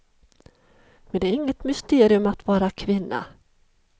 Men det är inget mysterium att vara kvinna.